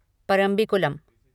Parambikulam